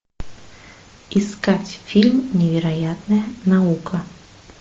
искать фильм невероятная наука